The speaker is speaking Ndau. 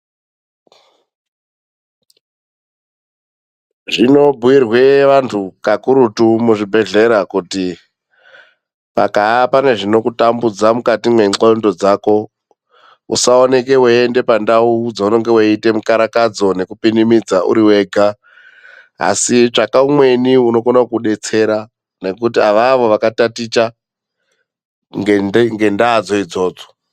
Zvinobhiirwe vanthu kakurutu muzvibhehlera kuti pakaa pane zvinokutambudza mukati mendlondo dzako, usaoneke weiende pandawu dzaunenge weite mukarakadzo nekupinimidza uri wega, asi tsvaka umweni unokone kukudetsera ngekuti avavo vakataticha ngendaa dzo idzodzo .